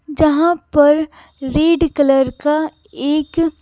जहां पर red colour का एक --